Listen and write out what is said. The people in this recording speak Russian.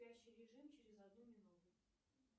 спящий режим через одну минуту